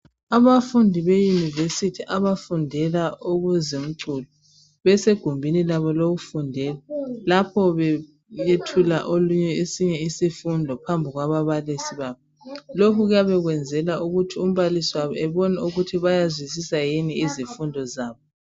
abafundi be university abafundela okwezomculo besegumbini labo lokufundela lapho beyethula olunye esinye isifundo phambi kwababalisi babo lokhu kuyabe kwenzelwa ukuthi umbalisi wabo ebone ukuthi bayazwisisa yini izifundo zabo